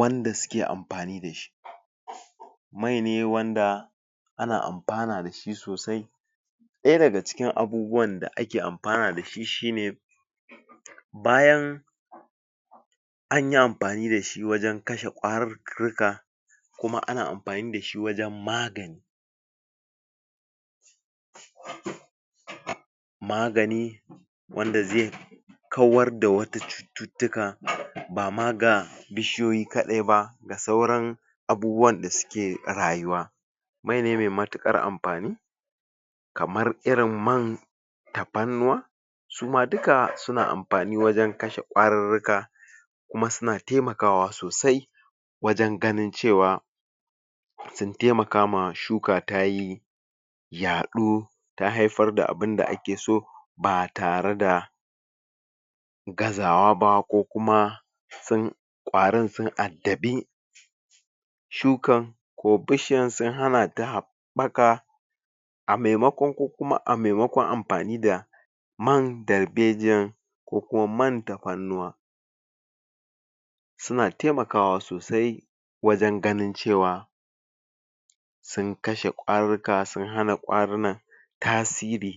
wanda suke amfani da shi mai ne wanda ana amfana da shi sosai daya daga cikin abubuwan da ake amfana dashi shine bayan anyi amfani dashi wajen kashe kwarurruka kuma ana amfani da shi wajen magance magani wanda zai kawar da wata cututtuka bama ga bishiyoyi kadai ba da sauran abubuwan da suke rayuwa mai ne mai matikar amfani kamar irin man tafannuwa suma duka suna amfani wajen kashe kwarurruka kuma suna taimakawa sosai wajen ganin cewa sun taimakawa shuka tayi ya do da haifar da abunda ake so ba tare da gaza wa ba ko kuma kwarin sun addabi shukan ko bishiyan sun hana ta baka a maimakon ko kuma a maimakon amfani da man darbejiyan ko kuma man tafannuwa suna taimakawa sosai wajen ganin cewa sun kashe kwaruka sun hana kwarunan tasiri